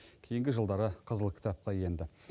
кейінгі жылдары қызыл кітапқа енді